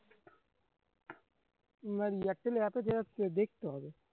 মানে এয়ারটেল এ এতো দেখতে হবে